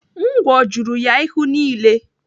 Ngwọ juru ya ihu niile.